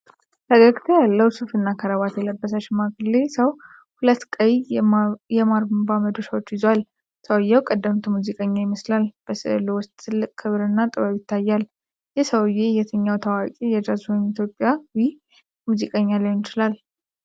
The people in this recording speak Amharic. ፈገግታ ያለው፣ ሱፍና ክራባት የለበሰ ሽማግሌ ሰው ሁለት ቀይ የማርምባ መዶሻዎችን ይዟል። ሰውዬው ቀደምት ሙዚቀኛ ይመስላል፤ በስዕሉ ውስጥም ትልቅ ክብርና ጥበብ ይታያል። ይህ ሰውዬ የትኛው ታዋቂ የጃዝ ወይም ኢትዮጵያዊ ሙዚቀኛ ሊሆን ይችላል?